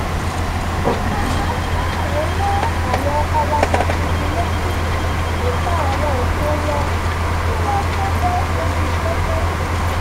a máa ń sábà rán àwọn awakọ̀ tuntun létí nípa àwọn ẹ̀tọ́ wọn kí wọ́n tó bọ́ sójú pópó